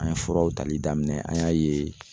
An ye furaw tali daminɛ an y'a ye